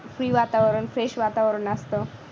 free वातावरण fresh वातावरण असतं.